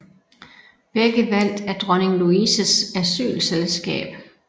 Begge valgt af Dronning Louises Asylselskab